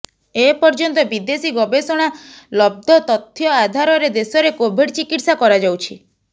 ଏପର୍ଯ୍ୟନ୍ତ ବିଦେଶୀ ଗବେଷଣା ଲବ୍ଧ ତଥ୍ୟ ଆଧାରରେ ଦେଶରେ କୋଭିଡ ଚିକିତ୍ସା କରାଯାଉଛି